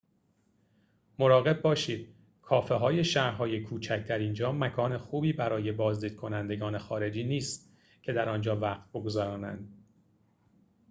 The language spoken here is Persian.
مراقب باشید کافه‌های شهرهای کوچک در اینجا مکان خوبی برای بازدید کنندگان خارجی نیست که در آنجا وقت بگذرانند